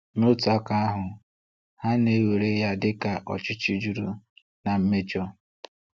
N’otu aka ahu, ha na-ewere ya dịka ọchịchị juru na mmejọ.